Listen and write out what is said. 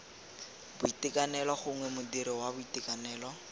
boitekanelo gongwe modiri wa boitekanelo